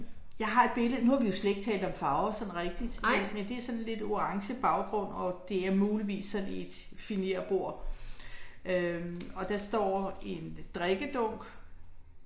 Jeg har et billede, nu har vi jo slet ikke talt om farver sådan rigtigt men men det er sådan lidt orange baggrund, og det er muligvis sådan et finérbord øh. Og der står en drikkedunk